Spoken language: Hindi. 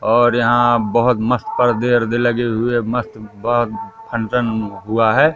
और यहां बहोत मस्त पर्दे वर्दे लगे हुए मस्त ब फंक्शन हुआ है।